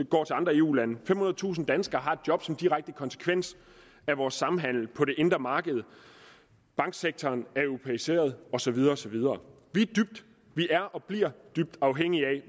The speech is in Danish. går til andre eu lande femhundredetusind danskere har et job som en direkte konsekvens af vores samhandel på det indre marked og banksektoren er blevet europæiseret og så videre og så videre vi er og bliver dybt afhængige af